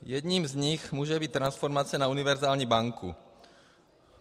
Jedním z nich může být transformace na univerzální banku.